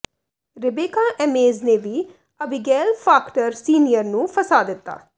Rebecca Ames ਨੇ ਵੀ Abigail Faulkner senior ਨੂੰ ਫਸਾ ਦਿੱਤਾ